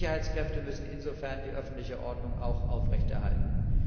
Die Sicherheitskräfte müssen insofern die öffentliche Ordnung auch aufrechterhalten.